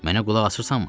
Mənə qulaq asırsanmı?